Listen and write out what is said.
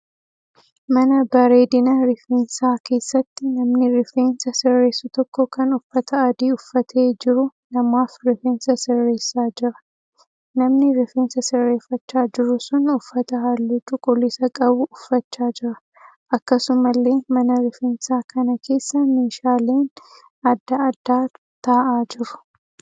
Mana bareedina rifeensaa keessatti namni rifeensa sirreessu tokko kan uffata adii uffatee jiru namaaf rifeensa sirreessaa jira. Namni rifeensa sirreeffachaa jiru sun uffata halluu cuquliisa qabu uffachaa jira. Akkasumallee mana rifeensaa kana keessa meeshaaleen adda addaa ta'aa jiru.